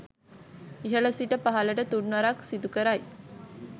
ඉහළ සිට පහළට තුන්වරක් සිදු කරයි.